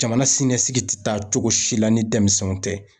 Jamana sinɛsigi tacogo si la ni denmisɛnw tɛ.